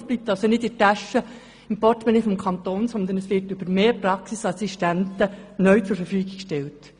Es bleibt also nicht im Portemonnaie des Kantons, sondern wird für weitere Praxisassistenzen zur Verfügung gestellt.